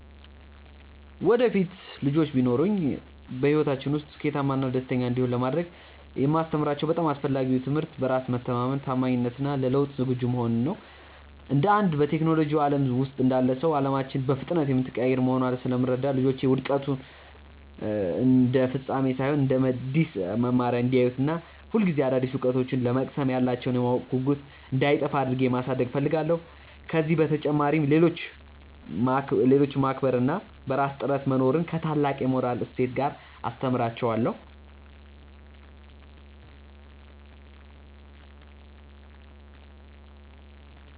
ወደፊት ልጆች ቢኖሩኝ፣ በሕይወታቸው ውስጥ ስኬታማና ደስተኛ እንዲሆኑ ለማድረግ የማስተምራቸው በጣም አስፈላጊው ትምህርት በራስ መተማመንን፣ ታማኝነትን እና ለለውጥ ዝግጁ መሆንን ነው። እንደ አንድ በቴክኖሎጂው ዓለም ውስጥ እንዳለ ሰው፣ ዓለማችን በፍጥነት የምትቀያየር መሆኗን ስለምረዳ፣ ልጆቼ ውድቀትን እንደ ፍጻሜ ሳይሆን እንደ አዲስ መማሪያ እንዲያዩት እና ሁልጊዜ አዳዲስ እውቀቶችን ለመቅሰም ያላቸው የማወቅ ጉጉት እንዳይጠፋ አድርጌ ማሳደግ እፈልጋለሁ። ከዚህ በተጨማሪ፣ ሌሎችን ማክበር እና በራስ ጥረት መኖርን ከታላቅ የሞራል እሴት ጋር አስተምራቸዋለሁ።